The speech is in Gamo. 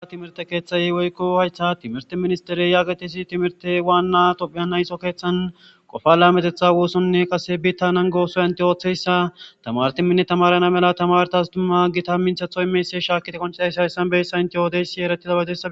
Ha timirte keeththay woykko haysta timirte ministere yaaqetisi timirte waanna qopheya nayso keeththan qofala metetha woossonne qase bittanan goosoy ante ooththeyssa tamartiminne tamarana mela tamartas dumma gita minthathoy meese shaakite konchidayshaysanbeyssa inte yoodeysi eretiza baedo.